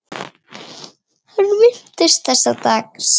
Hann minnist þessa dags.